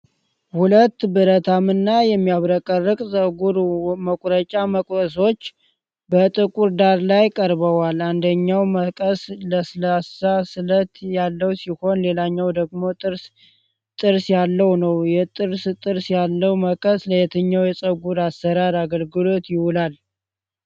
ሁለት ብረታማ እና የሚያብረቀርቁ ፀጉር መቁረጫ መቀሶች በጥቁር ዳራ ላይ ቀርበዋል። አንደኛው መቀስ ለስላሳ ስለት ያለው ሲሆን፣ ሌላኛው ደግሞ ጥርስ ጥርስ ያለው ነው። የጥርስ ጥርስ ያለው መቀስ ለየትኛው የፀጉር አሠራር አገልግሎት ይውላል?